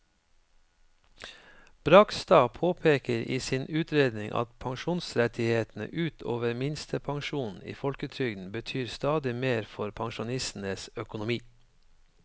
Bragstad påpeker i sin utredning at pensjonsrettighetene ut over minstepensjonen i folketrygden betyr stadig mer for pensjonistenes økonomi.